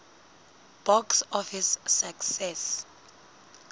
box office success